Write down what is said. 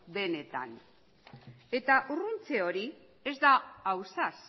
benetan eta urruntze hori ez da ausaz